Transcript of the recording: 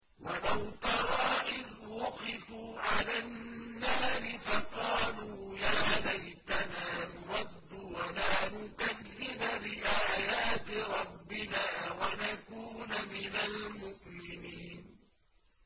وَلَوْ تَرَىٰ إِذْ وُقِفُوا عَلَى النَّارِ فَقَالُوا يَا لَيْتَنَا نُرَدُّ وَلَا نُكَذِّبَ بِآيَاتِ رَبِّنَا وَنَكُونَ مِنَ الْمُؤْمِنِينَ